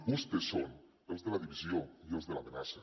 vostès són els de la divisió i els de l’amenaça